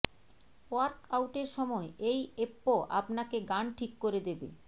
ওয়ার্কআউটের সময় এই এপ্প আপনাকে গান ঠিক করে দেবে